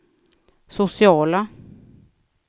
sociala